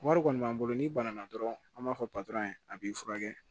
Wari kɔni b'an bolo n'i bana dɔrɔn an b'a fɔ a b'i furakɛ